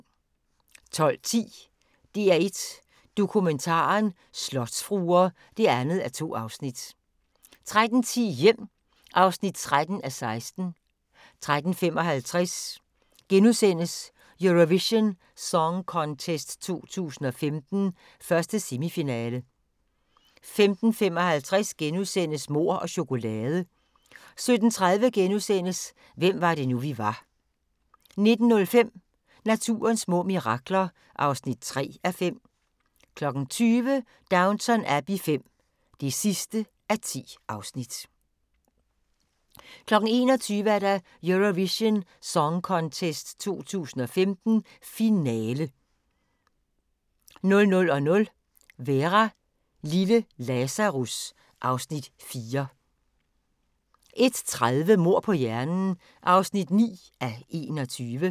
12:10: DR1 Dokumentaren: Slotsfruer (2:2) 13:10: Hjem (13:16) 13:55: Eurovision Song Contest 2015, 1. semifinale * 15:55: Mord og chokolade * 17:30: Hvem var det nu, vi var * 19:05: Naturens små mirakler (3:5) 20:00: Downton Abbey V (10:10) 21:00: Eurovision Song Contest 2015, finale 00:00: Vera: Lille Lazarus (Afs. 4) 01:30: Mord på hjernen (9:21)